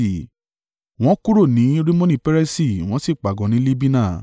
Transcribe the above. Wọ́n kúrò ní Rimoni-Peresi wọ́n sì pàgọ́ ní Libina.